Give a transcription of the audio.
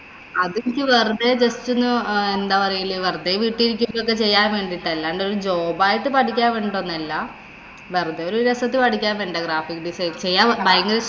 അത് എനിക്ക് വെറുതെ just ഒന്ന് എന്താ പറയല് വെറുതെ വീട്ടി ഇരിക്കുമ്പോ ഒക്കെ ചെയ്യാന്‍ വേണ്ടീട്ടാ. അല്ലാണ്ട് ഒരു job ആയിട്ട് പഠിക്കാന്‍ വേണ്ടീട്ടൊന്നുമല്ല. വെറുതെ ഒരു രസായിട്ട് പഠിക്കാന്‍ വേണ്ടീട്ടാ graphic design ചെയ്യാന്‍ ഭയങ്കര ഇഷ്ടാ.